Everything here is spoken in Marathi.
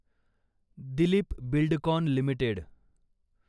दिलीप बिल्डकॉन लिमिटेड